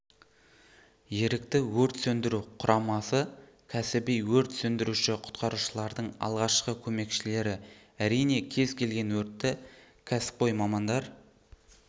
ерікті өрт сөндіру құрамасы кәсіби өрт сөндіруші құтқарушылардың алғашқы көмекшілері әрине кез келген өртті кәсіпқой мамандар